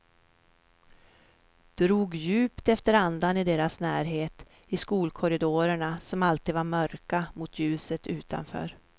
Drog djupt efter andan i deras närhet, i skolkorridorerna som alltid var mörka mot ljuset utanför.